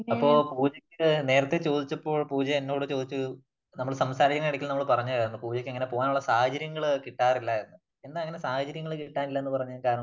അപ്പോ പൂജയ്ക്ക് നേരത്തെ ചോദിച്ചപ്പോൾ പൂജ എന്നോട് ചോദിച്ച ഒരു നമ്മള് സംസാരിക്കുന്നതിന്റെ ഇടയ്ക്ക് നമ്മള് പറഞ്ഞതായിരുന്നു. പൂജയ്ക്ക് അങ്ങനെ പോകാനുള്ള സാഹചര്യംങ്ങൾ കിട്ടാറില്ല എന്ന് . എന്നാ അങ്ങനെ സാഹചര്യം കിട്ടാനില്ല എന്ന് പറയാൻ കാരണം